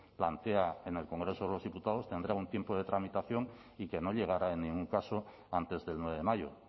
plantea en el congreso de los diputados tendrá un tiempo de tramitación y que no llegará en ningún caso antes del nueve de mayo